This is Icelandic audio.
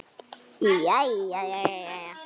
Jæja jæja.